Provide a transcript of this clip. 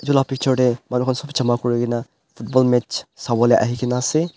etu la picture manu khan sob bi jama kurina football match sabolae ahikina asae.